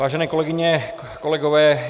Vážené kolegyně, kolegové.